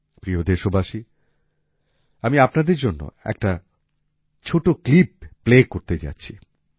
প্রিয় দেশবাসী আমি আপনাদের জন্য একটি ছোট ক্লিপ প্লে করতে যাচ্ছি